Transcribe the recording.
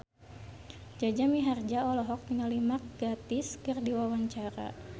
Jaja Mihardja olohok ningali Mark Gatiss keur diwawancara